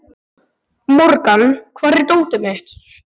Morgan, hvar er dótið mitt?